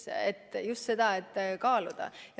Kõike tuleb kaaluda.